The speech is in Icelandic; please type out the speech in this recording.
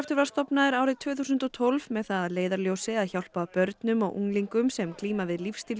var stofnaður árið tvö þúsund og tólf með það að leiðarljósi að hjálpa börnum og unglingum sem glíma við